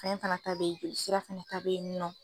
Kaɲa fana ta bɛ ye jolisira fana ta bɛ yen nɔ.